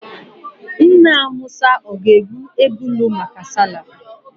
Nna musa ga-egbu ebulu maka sallah?